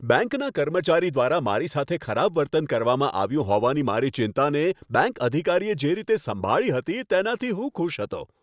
બેંકના કર્મચારી દ્વારા મારી સાથે ખરાબ વર્તન કરવામાં આવ્યું હોવાની મારી ચિંતાને, બેંક અધિકારીએ જે રીતે સંભાળી હતી, તેનાથી હું ખુશ હતો.